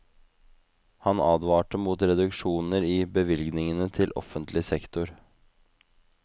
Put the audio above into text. Han advarte mot reduksjoner i bevilgningene til offentlig sektor.